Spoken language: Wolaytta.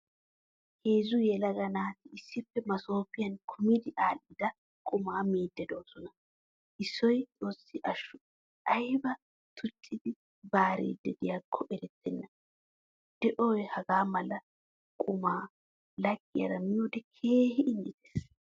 Heezzu yelaga naati issippe masoppiyan kumidi adhdhida qumaa miidi deosona. Issoy xoosi ashsho ayba tuccidi baaridi deiyakko erettena. Deo hagaamala qumaa laggiyaara miiyode keehin injjettees.